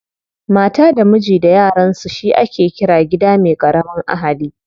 Mata da miji da yaransu shi ake ƙira gida me ƙaramin ahali.